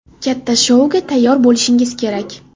Katta shouga tayyor bo‘lishingiz kerak.